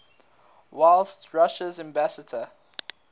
whilst russia's ambassador